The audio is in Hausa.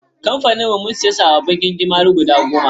Kamfanin mu sun siya sababbin gingimari guda goma/